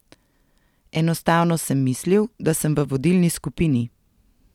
Enostavno sem mislil, da sem v vodilni skupini.